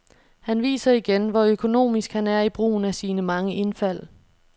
Han viser igen, hvor økonomisk han er i brugen af sine mange indfald.